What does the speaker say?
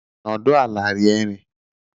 Nọdụ ala rie nri!